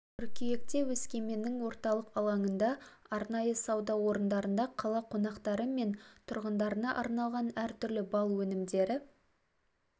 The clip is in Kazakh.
қыркүйекте өскеменнің орталық алаңында арнайы сауда орындарында қала қонақтары мен тұрғындарына арналған әр түрлі бал өнімдері